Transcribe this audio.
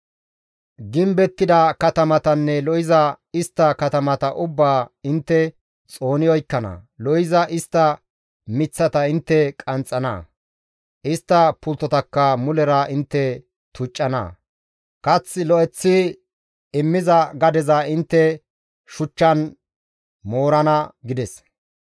«Gimbettida katamatanne lo7iza istta katamata ubbaa intte xooni oykkana. Lo7iza istta miththata intte qanxxana; istta pulttotakka mulera intte tuccana; kath lo7eththi immiza gadeza intte shuchchan moorana» gides.